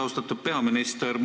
Austatud peaminister!